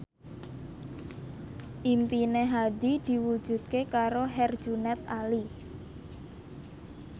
impine Hadi diwujudke karo Herjunot Ali